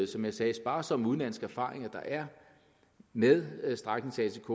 som jeg sagde sparsomme udenlandske erfaringer der er med stræknings atk